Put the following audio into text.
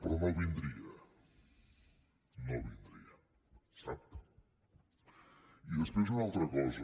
però no vindria no vindria sap i després una altra cosa